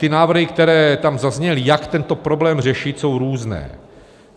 Ty návrhy, které tam zazněly, jak tento problém řešit, jsou různé.